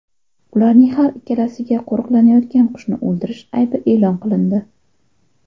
Ularning har ikkalasiga qo‘riqlanayotgan qushni o‘ldirish aybi e’lon qilindi.